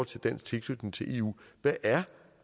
til dansk tilknytning til eu hvad er